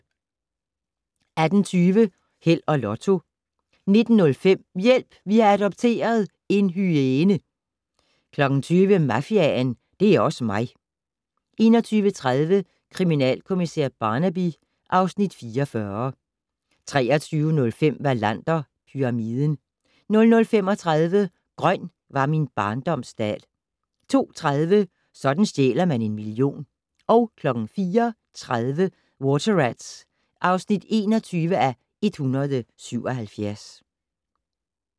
18:20: Held og Lotto 19:05: Hjælp! Vi har adopteret - en hyæne 20:00: Mafiaen - det er osse mig 21:30: Kriminalkommissær Barnaby (Afs. 44) 23:05: Wallander: Pyramiden 00:35: Grøn var min barndoms dal 02:30: Sådan stjæler man en million 04:30: Water Rats (21:177)